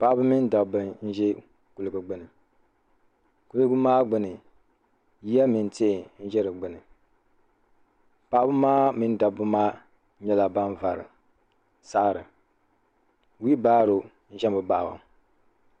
Paɣaba mini dabba ʒɛ kuliga gbini kuliga maa gbini ya mini tihi n za di gbini paɣaba maa mini dabba maa nyɛla ban vari saɣari wibaro ʒɛmi baɣaba.